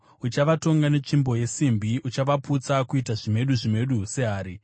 Uchavatonga netsvimbo yesimbi; uchavaputsa kuita zvimedu zvimedu sehari.”